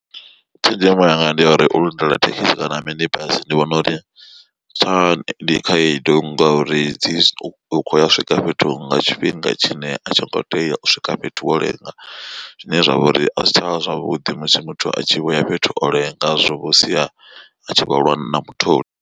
Tshenzhemo yanga ndi ya uri u lindela thekisi kana mini bazi ndi vhona uri tsha ndi khaedu ngauri dzi khoya u swika fhethu nga tshifhinga tshine a tshi ngo tea u swika fhethu wo lenga zwine zwavha uri a zwi tshavha zwavhuḓi musi muthu a tshi vho ya fhethu o lenga zwa vho sia a tshi khou lwa na mutholi.